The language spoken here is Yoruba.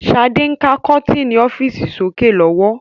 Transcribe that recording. Sade ń ka kọ́tinni ọ́fíìsì sókè lọ́wọ́